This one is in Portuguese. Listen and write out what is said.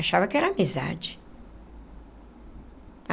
Achava que era amizade.